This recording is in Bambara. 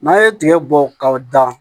N'a ye tigɛ bɔ ka dan